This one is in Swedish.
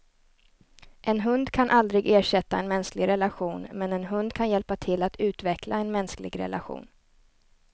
En hund kan aldrig ersätta en mänsklig relation, men en hund kan hjälpa till att utveckla en mänsklig relation.